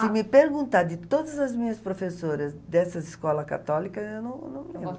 Se me perguntar de todas as minhas professoras dessa escola católica, eu não não lembro.